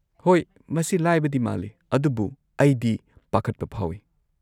-ꯍꯣꯏ, ꯃꯁꯤ ꯂꯥꯏꯕꯗꯤ ꯃꯥꯜꯂꯤ ꯑꯗꯨꯕꯨ ꯑꯩꯗꯤ ꯄꯥꯈꯠꯄ ꯐꯥꯎꯏ꯫